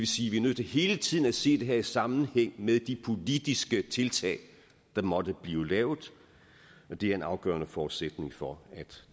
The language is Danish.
sige vi er nødt til hele tiden at se det her i sammenhæng med de politiske tiltag der måtte blive lavet og det er en afgørende forudsætning for at